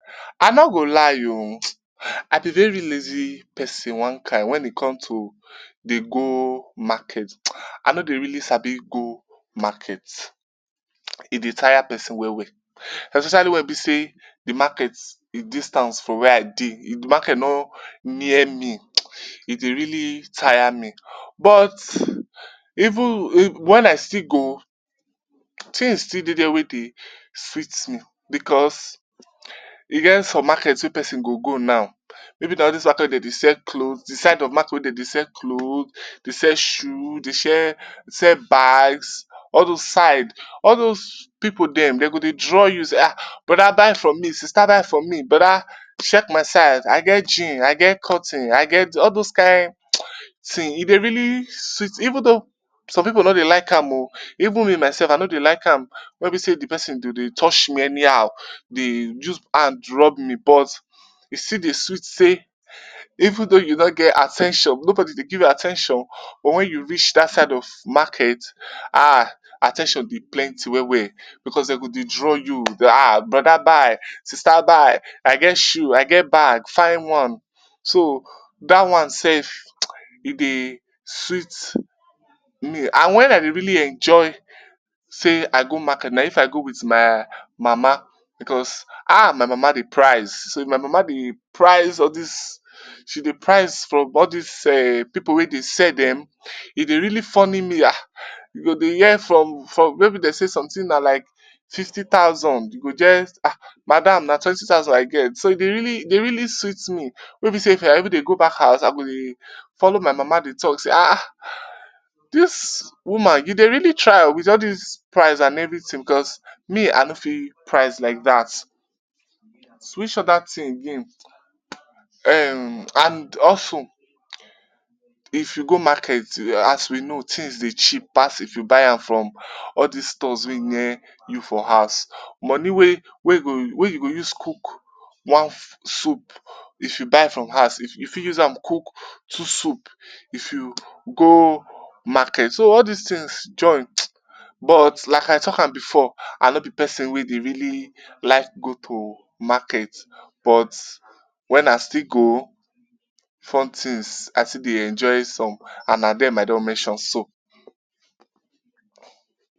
I no go lie o, am a very lazy pesin one kain wen it comes to dey go market. I no dey really sabi go market, e dey tire pesin well well especially wen e be sey di market e distance from wia I dey, if di market no near me, e dey really tire me but even wen I still go, tins still dey dia wey dey sweet me because e get some market wey pesin go go now maybe na all dis market wey dem dey sell cloth, di side of market wey dem dey sell cloth, dey sell shoes, dey share sell bags all dose side. All dose pipu dem, dem go dey draw you sey ah broda buy from me, sista buy from me, broda check my side, I get jean, I get cotton, I get all dose kain tin e dey really sweet me even tho some pipu no dey like am o, even me myself I no dey like am, wey be sey di pesin go dey tough me anyhow, dey use hand rub me but e still dey sweet sey even tho you no get at ten tion, nobody dey give you at ten tion but wen you reach dat side of market ah at ten tion be plenty well well because dem go dey draw you. Ah broda buy, sista buy, I get shoe, I get bag fine one, so dat one self e dey me and wen I dey really enjoy sey I go market na if I go wit my mama because ah my mama dey price, so if my mama dey price all dis, she dey price from all dis um pipu wey dey sell dem, e dey really funny me ah, you go dey hear from maybe dey sey somtin na like fifty thousand you go hear ah madam na twenty thousand I get. So e dey really, dey really sweet me wey be say if I even dey go back house I go dey follow my mama dey talk sey ahh dis woman you dey really try o wit all dis price and everytin because me I no fit price like dat. Which oda tin again um and also if you go market as we know tins dey cheap pass if you buy am from all dis stores wey near you for house. Moni wey go wey you go use cook one soup if you buy from house, you fit use am cook two soup if you gomarket. So all dis tins join but like I talk am e=before I no be pesin wey dey really like go to market but wen I still go fun tins, I still dey enjoy some and na dem I don mention so